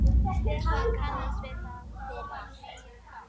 Takk afi, fyrir allt.